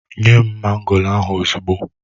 Nye m mango ahụ ozugbo!